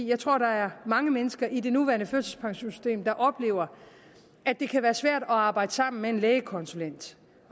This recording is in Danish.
jeg tror at der er mange mennesker i det nuværende førtidspensionssystem der oplever at det kan være svært at arbejde sammen med en lægekonsulent